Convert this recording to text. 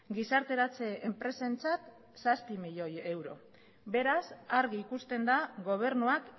gizarteratze enpresentzat zazpi milioi euro beraz argi ikusten da gobernuak